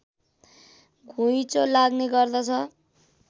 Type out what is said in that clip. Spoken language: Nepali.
घुइँचो लाग्ने गर्दछ